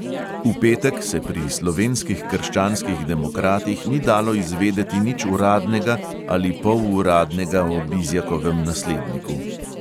V petek se pri slovenskih krščanskih demokratih ni dalo izvedeti nič uradnega ali poluradnega o bizjakovem nasledniku.